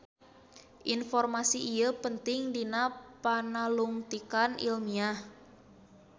Informasi ieu penting dina panalungtikan ilmiah.